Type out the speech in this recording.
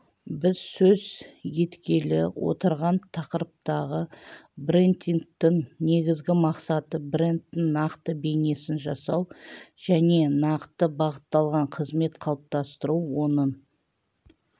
біз сөз еткелі отырған тақырыптағы брендингтің негізгі мақсаты брендтің нақты бейнесін жасау және нақты бағытталған қызмет қалыптастыру оның